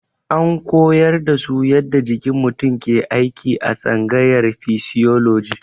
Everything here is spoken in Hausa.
An koyar da su yadda jikin mutum ke aiki a tsangayar fisioloji.